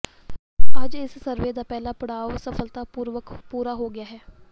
ਅੱਜ ਇਸ ਸਰਵੇ ਦਾ ਪਹਿਲਾ ਪੜਾਅ ਸਫਲਤਾਪੂਰਵਕ ਪੂਰਾ ਹੋ ਗਿਆ ਹੈ